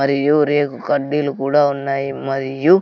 మరియు రేకు కడ్డీలు కూడా ఉన్నాయి మరియు--